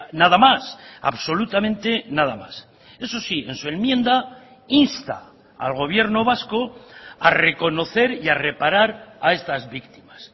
nada más absolutamente nada más eso sí en su enmienda insta al gobierno vasco a reconocer y a reparar a estas víctimas